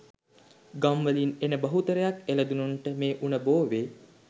ගම් වලින් එන බහුතරයක් එළදෙනුන්ට මේ උණ බෝවේ.